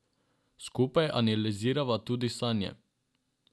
Skupaj analizirava tudi sanje.